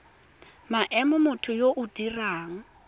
maemo motho yo o dirang